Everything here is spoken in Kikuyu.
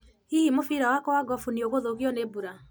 hihi mũbira wakwa wa gofu ni gũthũkio nĩ mbura?